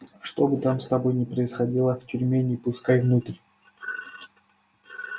что бы там с тобой ни происходило в тюрьме не пускай внутрь